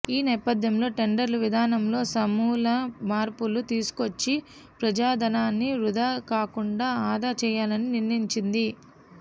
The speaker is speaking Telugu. ఈ నేపధ్యంలో టెండర్ల విధానంలో సమూల మార్పులు తీసుకువచ్చి ప్రజాధనాన్ని వృధా కాకుండా ఆదా చేయాలని నిర్ణయించింది